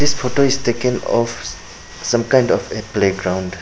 This photo is taken of some kind of a play ground.